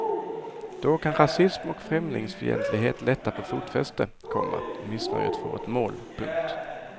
Då kan rasism och främlingsfientlighet lättare få fotfäste, komma missnöjet får ett mål. punkt